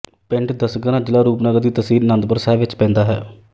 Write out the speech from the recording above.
ਪਿੰਡ ਦਸਗਰਾਂ ਜ਼ਿਲਾ ਰੂਪਨਗਰ ਦੀ ਤਹਿਸੀਲ ਆਨੰਦਪੁਰ ਸਾਹਿਬ ਵਿੱਚ ਪੈਂਦਾ ਹੈ